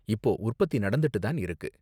இப்போ உற்பத்தி நடந்துட்டு தான் இருக்கு.